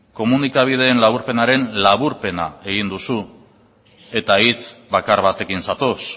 komunikabideen laburpenaren laburpena egin duzu eta hitz bakar batekin zatoz